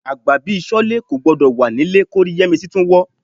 Àgbà bí Ṣọ́lé kò gbọdọ̀ wà nílé kórí Yẹ́misí tún wọ́